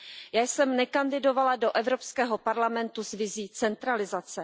Já jsem nekandidovala do Evropského parlamentu s vizí centralizace.